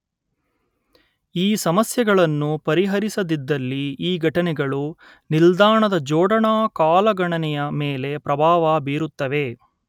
ಈ ಸಮಸ್ಯೆಗಳನ್ನು ಪರಿಹರಿಸದಿದ್ದಲ್ಲಿ ಈ ಘಟನೆಗಳು ನಿಲ್ದಾಣದ ಜೋಡಣಾ ಕಾಲಗಣನೆಯ ಮೇಲೆ ಪ್ರಭಾವ ಬೀರುತ್ತವೆ